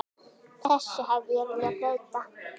Þessu hefði ég viljað breyta.